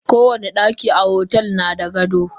Kowani daki a otel nada gado.